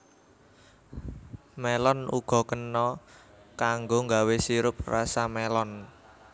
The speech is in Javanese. Mélon uga kena kanggo nggawé sirup rasa mélon